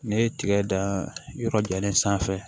N'i ye tiga dan yɔrɔ jumɛn sanfɛ